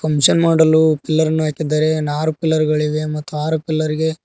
function ಮಾಡಲು pillar ನು ಹಾಕಿದ್ದಾರೆ ಅರು ಪಿಲ್ಲರ್ ಗಳಿವೆ ಮತ್ತು ಆರು ಪಿಲ್ಲರ್ ಗೆ --